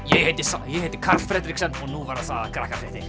ég heiti sæ ég heiti Karl Fredriksen og nú verða sagðar